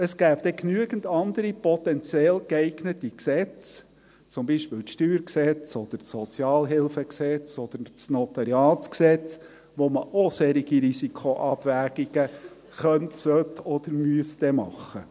Es gibt genügend andere potenziell geeignete Gesetze – zum Beispiel das Steuergesetz (StG), das Gesetz über die öffentliche Sozialhilfe (Sozialhilfegesetz, SHG) oder das Notariatsgesetz (NG) –, um ebenfalls solche Risikoabwägungen vornehmen zu können, sollen oder müssen.